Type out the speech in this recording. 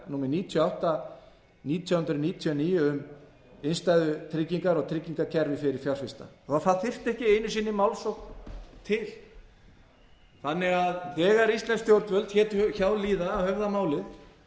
níutíu og átta nítján hundruð níutíu og níu um innstæðutryggingar og tryggingakerfi fyrir fjárfesta og það þyrfti ekki einu sinni málsókn til þegar íslensk stjórnvöld létu hjá líða að höfða málið